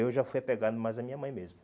Eu já fui apegado mais à minha mãe mesmo.